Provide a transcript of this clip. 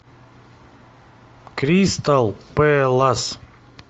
кристал пэлас